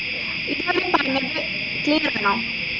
ഇപ്പൊ ഞാൻ പറഞ്ഞത് clear ആണോ